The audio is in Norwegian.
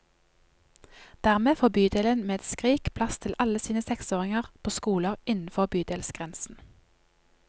Dermed får bydelen med et skrik plass til alle sine seksåringer på skoler innenfor bydelsgrensen.